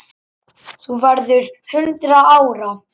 Þú verður hundrað ára.